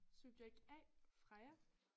Subjekt A Freja